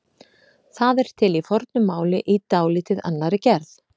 Það er til í fornu máli í dálítið annarri gerð.